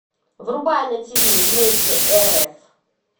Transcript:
врубай на ти ви вместе рф